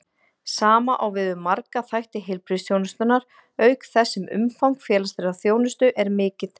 Sama á við um marga þætti heilbrigðisþjónustunnar, auk þess sem umfang félagslegrar þjónustu er mikið.